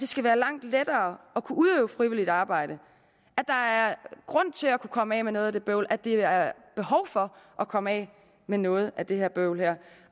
skal være langt lettere at kunne udøve frivilligt arbejde at der er grund til at komme af med noget af det bøvl og at der er behov for at komme af med noget af det bøvl her